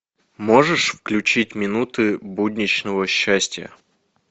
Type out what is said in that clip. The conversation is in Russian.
можешь включить минуты будничного счастья